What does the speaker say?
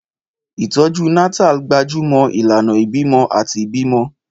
Ìtọ́jú Natal gbájú mọ́ ìlànà ìbímọ àti ìbímọ.